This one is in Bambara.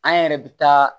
An yɛrɛ bɛ taa